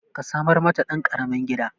Ka samar mata ɗan ƙaramin gida